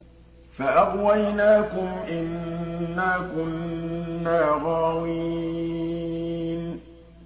فَأَغْوَيْنَاكُمْ إِنَّا كُنَّا غَاوِينَ